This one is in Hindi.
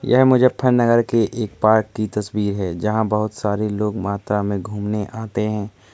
यह मुज़्ज़फ़्फ़रनगर के एक पार्क की तस्वीर है जहाँ बहुत सारे लोग मात्रा में घूमने आते हैं।